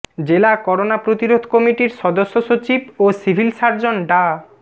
জেলা করোনা প্রতিরোধ কমিটির সদস্য সচিব ও সিভিল সার্জন ডা